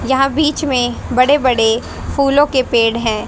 यहां बीच में बड़े बड़े फूलों के पेड़ हैं।